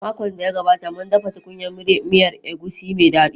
A makon da ya gabata, mun dafa tukunyar miyar egusi mai dadi.